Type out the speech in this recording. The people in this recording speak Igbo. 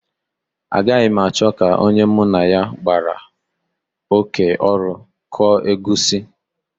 Agaghị m achọ ka onye mụ na ya gbara oké ọrụ kụọ egusi